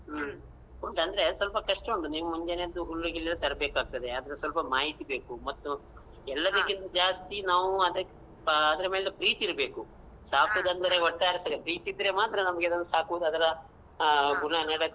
ಹ್ಮ ಉಂಟ್ ಅಂದ್ರೇ ಸ್ವಲ್ಪ ಕಷ್ಟ ಉಂಟು ನೀವು ಮುಂಜಾನೆ ಎದ್ದು ಹುಲ್ಲು ಗಿಲ್ಲು ತರ್ಬೇಕಾಗ್ತದೆ ಅದ್ರ ಸ್ವಲ್ಪ ಮಾಹಿತಿ ಬೇಕು ಮತ್ತು ಎಲ್ಲದಕ್ಕಿಂತ ಜಾಸ್ತಿ ನಾವೂ ಅದಕ್ಕ್ ಆ ಅದ್ರ ಮೇಲೆ ಪ್ರೀತಿ ಇರ್ಬೇಕು ಸಾಕುದಂದ್ರೆ ಒಟ್ಟಾರೆ ಸರಿ ಪ್ರೀತಿ ಇದ್ರೆ ಮಾತ್ರ ನಮ್ಗೆ ಅದನ್ನು ಸಾಕುದ್ ಅದರಾ ಗುಣ ನಡತೆ.